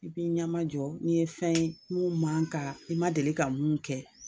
I b'i ɲɛmajɔ n'i ye fɛn ye mun man kan ka i ma deli ka mun kɛ.